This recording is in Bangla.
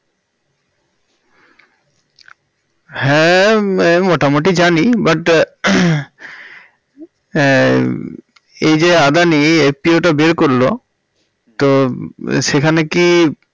হ্যাঁ এই মোটামুটি জানি but আহ উম এই যে আদানি FPO টা বের করল তো সেখানে কি